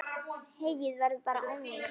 Heyið verður bara ónýtt.